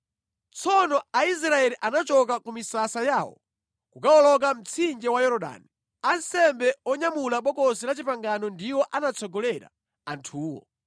Tsono Aisraeli anachoka ku misasa yawo kukawoloka mtsinje wa Yorodani. Ansembe onyamula Bokosi la Chipangano ndiwo anatsogolera anthuwo.